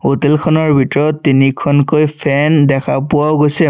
হোটেলখনৰ ভিতৰত তিনিখনকৈ ফেন দেখা পোৱাও গৈছে।